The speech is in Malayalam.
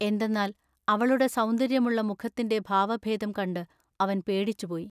എന്തെന്നാൽ അവളുടെ സൗന്ദര്യമുള്ള മുഖത്തിന്റെ ഭാവഭേദം കണ്ടു അവൻ പേടിച്ചുപോയി.